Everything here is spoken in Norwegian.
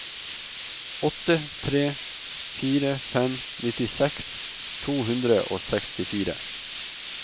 åtte tre fire fem nittiseks to hundre og sekstifire